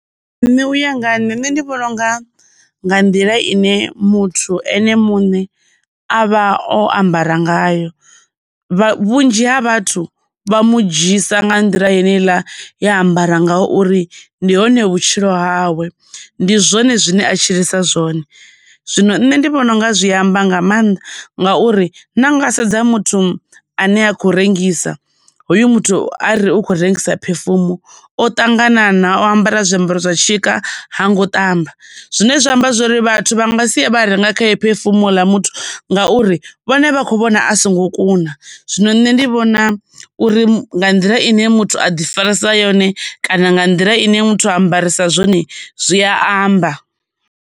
Nṋe uya nga nne ndi vhona unga nga nḓila ine muthu ene muṋe avha o ambara ngayo, vha vhunzhi ha vhathu vha mu dzhiisa nga nḓila yene iḽa yea ambara ngauri ndi hone vhutshilo hawe, ndi zwone zwine a tshilisa zwone. Zwino nṋe ndi vhona unga zwi amba nga maanḓa, ngauri na nga sedza muthu ane a khou rengisa hoyu muthu a re a khou rengisa perfume, o ṱanganana, o ambara zwiambaro zwa tshika ha ngo ṱamba. Zwine zwa amba zwori vhathu vha nga sie vha renga khae perfume houḽa muthu ngauri vhone vha kho vhona a songo kuna. Zwino nṋe ndi vhona uri nga nḓila ine muthu a ḓi farisa yone kana nga nḓila ine muthu ambarisa zwone zwi a amba.